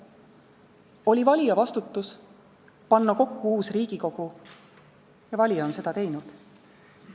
Oli valija vastutus panna kokku uus Riigikogu ja valija on seda teinud.